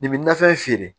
Nin bɛ nafɛn feere